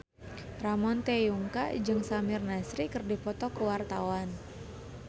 Ramon T. Yungka jeung Samir Nasri keur dipoto ku wartawan